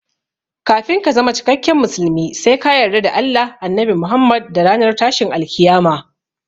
Kafin ka zama cikakken musulmi sai ka yarda da Allah, Annabi Muhammad da ranar tashin alkiyama